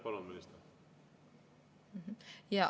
Palun, minister!